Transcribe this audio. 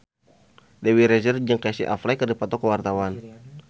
Dewi Rezer jeung Casey Affleck keur dipoto ku wartawan